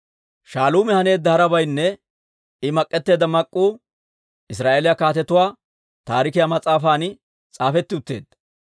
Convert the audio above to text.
Shaaluumi haneedda harabaynne I mak'etteedda mak'k'uu Israa'eeliyaa Kaatetuwaa Taarikiyaa mas'aafan s'aafetti utteedda.